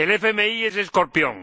El FMI es escorpión.